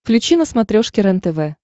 включи на смотрешке рентв